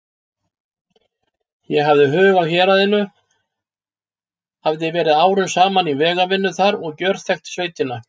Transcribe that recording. Ég hafði hug á héraðinu, hafði verið árum saman í vegavinnu þar og gjörþekkti sveitina.